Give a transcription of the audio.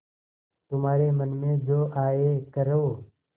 तुम्हारे मन में जो आये करो